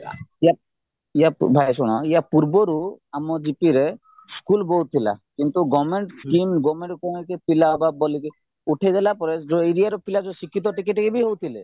ୟା ଭାଇ ଶୁଣ ୟାପୂର୍ବରୁ ଆମ gp ରେ ସ୍କୁଲ ବହୁତ ଥିଲା କିନ୍ତୁ government scheme government କୌଣସି ପିଲା ବା police ଉଠେଇଦେଲା ପରେ ଯୋଉ area ର ପିଲା ଶିକ୍ଷିତ ଟିକେ ଟିକେ ବି ହଉଥିଲେ